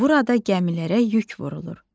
Burada gəmilərə yük vurulur.